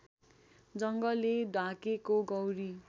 जङ्गलले ढाकेको गौरी